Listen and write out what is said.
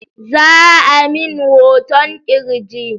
Za'a min hoton ƙirji